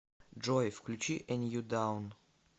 джой включи э нью даун